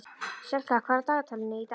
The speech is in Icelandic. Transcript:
Selka, hvað er á dagatalinu í dag?